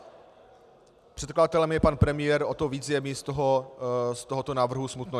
Předkladatel je pan premiér, o to víc je mi z tohoto návrhu smutno.